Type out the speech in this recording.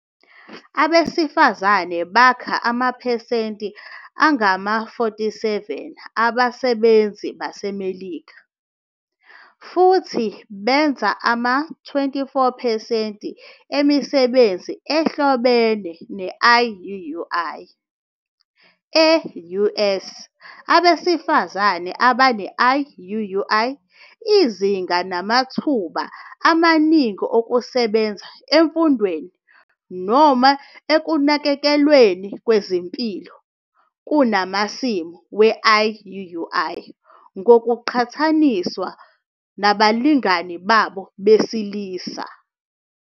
Abesifazane bakha amaphesenti angama-47 abasebenzi baseMelika, futhi benza ama-24 percent emisebenzi ehlobene ne-IUUI. E-US abesifazane abane-IUUI izinga banamathuba amaningi okusebenza emfundweni noma ekunakekelweni kwezempilo kunamasimu we-IUUI ngokuqhathaniswa nabalingani babo besilisa.